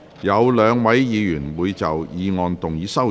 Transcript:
有兩位議員會就議案動議修正案。